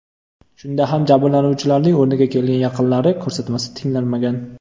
Shunda ham jabrlanuvchilarning o‘rniga kelgan yaqinlari ko‘rsatmasi tinglanmagan.